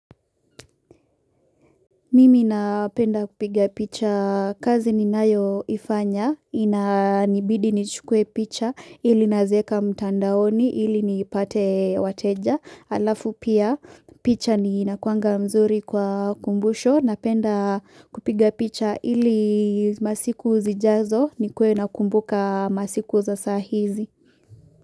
Mimi napenda kupiga picha, kazi ninayoifanya, inanibidi nichukuwe picha, ili nazieka mtandaoni, ili nipate wateja, alafu pia picha ni inakuanga mzuri kwa kumbusho, napenda kupiga picha ili masiku zijazo, nikuwe nakumbuka masiku za saa hizi.